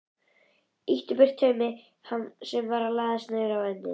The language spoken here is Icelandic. Ýtti burtu taumi sem var að læðast niður á ennið.